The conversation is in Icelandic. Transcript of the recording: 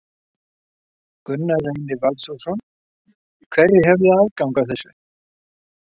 Gunnar Reynir Valþórsson: Hverjir hefðu aðgang að þessu?